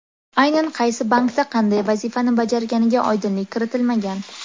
Aynan qaysi bankda qanday vazifani bajarganiga oydinlik kiritilmagan.